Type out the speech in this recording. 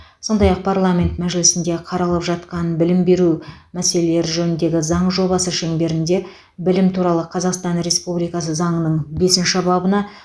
сондай ақ парламент мәжілісінде қаралып жатқан білім беру мәселелері жөніндегі заң жобасы шеңберінде білім туралы қазақстан республикасы заңының бесінші бабына